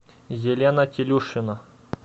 елена телюшина